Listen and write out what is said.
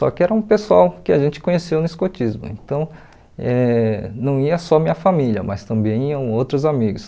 Só que era um pessoal que a gente conheceu no escotismo, então eh não ia só minha família, mas também iam outros amigos.